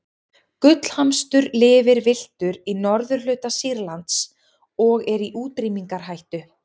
gullhamstur lifir villtur í norðurhluta sýrlands og er í útrýmingarhættu